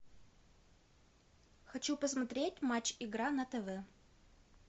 хочу посмотреть матч игра на тв